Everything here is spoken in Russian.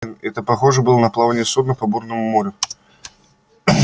это похоже было на плавание судна по бурному морю